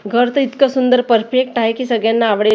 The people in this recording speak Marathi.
घर तर इतकं सुंदर परफेक्ट आहे की सगळ्यांना आवडेल.